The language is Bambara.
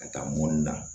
Ka taa mɔni na